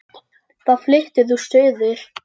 Þá fluttir þú suður.